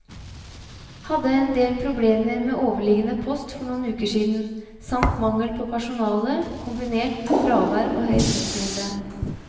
Hadde en del problemer med overliggende post for noen uker siden, samt mangel på personale, kombinert med fravær og høy postmengde.